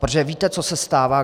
Protože víte, co se stává.